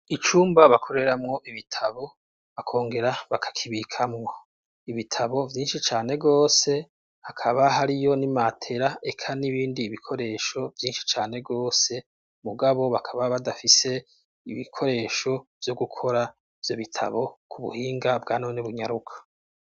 Icumba bakoreramwo ibitabo akongera bakakibikamwo ibitabo vyinshi cane gose hakaba hariyo nimatera eka n'ibindi ibikoresho vyinshi cane rwose mugabo bakaba badafise ibikoresho vyo gukora vyo bitabo ku buhinga bwa none bunyaruka.